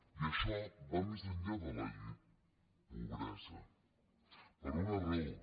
i això va més enllà de la pobresa per una raó